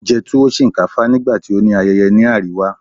o jẹ tuwo shinkafa nigbati o ni ayeye ni ariwa